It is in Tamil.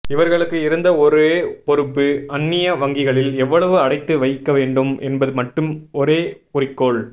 இவர்களுக்கு இருந்த ஒரே பொறுப்பு அந்நிய வங்கிகளில் எவ்வளவு அடைத்து வைக்க வேண்டும் என்பது மட்டும் ஒரே குறிக்கோள்